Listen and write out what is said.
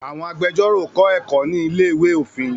Àwọn agbẹjórò kọ́ ẹ̀kọ́ ní ilé-ìwé òfin